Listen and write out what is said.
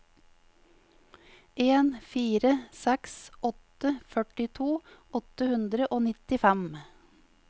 en fire seks åtte førtito åtte hundre og nittifem